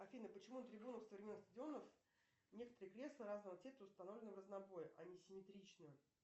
афина почему на трибунах современных стадионов некоторые кресла разного цвета установлены в разнобой а не симметрично